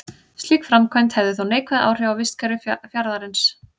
Slík framkvæmd hefði þó neikvæð áhrif á vistkerfi fjarðarins.